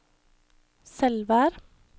Selvær